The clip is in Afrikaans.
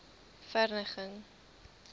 verneging